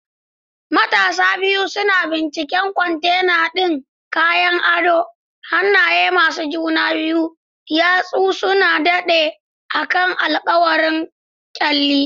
Matasan biyu suna binciken counter ɗin kayan adon, hannaye masu juna biyu, yatsu suna daɗe akan alkawuran kyalli.